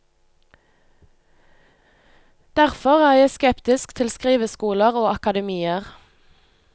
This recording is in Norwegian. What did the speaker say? Derfor er jeg skeptisk til skriveskoler og akademier.